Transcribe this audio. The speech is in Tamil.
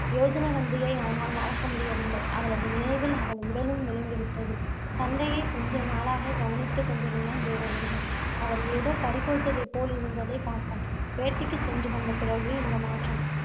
யோஜனகந்தியை அவனால் மறக்க முடியவில்லை. அவளது நினைவில் அவன் உடலும் மெலிந்து விட்டது. தந்தையை கொஞ்சநாளாக கவனித்துக் கொண்டிருந்தான் தேவவிரதன். அவர் ஏதோ பறிகொடுத்ததைப் போல் இருந்ததைப் பார்த்தான். வேட்டைக்குச் சென்று வந்த பிறகு இந்த மாற்றம்